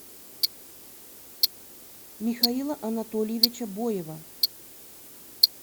михаила анатольевича боева